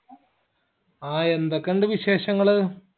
ആ എന്തൊക്കിണ്ട് വിശേഷങ്ങള്